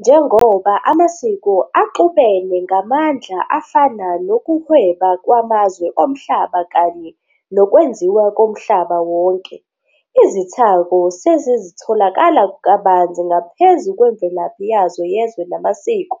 Njengoba amasiko axubene ngamandla afana nokuhweba kwamazwe omhlaba kanye nokwenziwa komhlaba wonke, izithako sezitholakala kabanzi ngaphezu kwemvelaphi yazo yezwe namasiko,